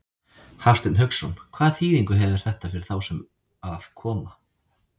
Hafsteinn Hauksson: Hvaða þýðingu hefur þetta fyrir þá sem að koma?